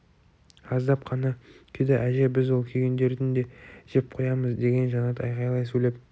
аздап қана күйді әже біз ол күйгендерін де жеп қоямыз деген жанат айқайлай сөйлеп